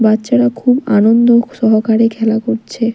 বাচ্চারা খুব আনন্দ সহকারে খেলা করছে।